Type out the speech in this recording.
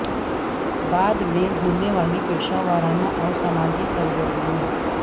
بعد میں ہونے والی پیشہ ورانہ اور سماجی سرگرمیوں